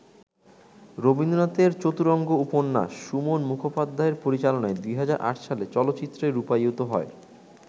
রবীন্দ্রনাথের ‘চতুরঙ্গ’ উপন্যাস সুমন মুখোপাধ্যায়ের পরিচালনায় ২০০৮ সালে চলচ্চিত্রে রূপায়িত হয়।